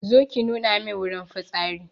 Zo ki nuna mun wurin fitsari